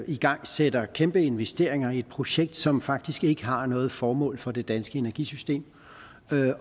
igangsætter kæmpe investeringer i et projekt som faktisk ikke har noget formål for det danske energisystem